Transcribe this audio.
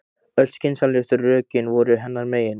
Öll skynsamlegu rökin voru hennar megin.